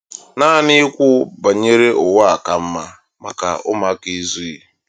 Naanị ikwu banyere ụwa ka mma maka ụmụaka ezughị.